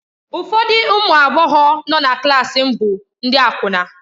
Ụfọdụ ụmụ agbọghọ nọ na klaasị m bụ ndị akwụna.